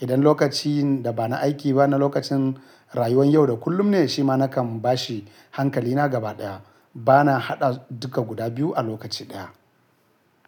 Idan lokacin da ba na aiki ba na lokacin rayuwar yau da kullum ne shi ma nakan bashi hankalina gabaɗaya. Bana haɗa duka guda biyu a lokaci ɗaya.